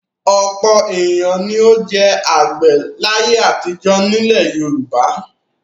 Ọ̀pọ̀ ènìyàn ni ó jẹ́ àgbẹ̀ láyé àtijọ́ nílẹ̀ Yorùbá.